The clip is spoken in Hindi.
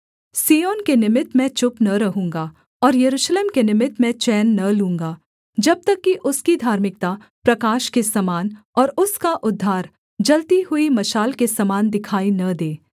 सिय्योन के निमित्त मैं चुप न रहूँगा और यरूशलेम के निमित्त मैं चैन न लूँगा जब तक कि उसकी धार्मिकता प्रकाश के समान और उसका उद्धार जलती हुई मशाल के समान दिखाई न दे